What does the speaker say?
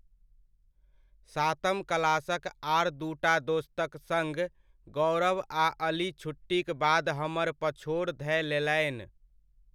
सातम क्लासक आर दू टा दोस्तक सङ्ग गौरव आ अली छुट्टीक बाद हमर पछोड़ धए लेलनि।